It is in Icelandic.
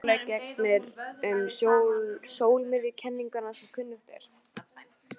Öðru máli gegnir um sólmiðjukenninguna sem kunnugt er.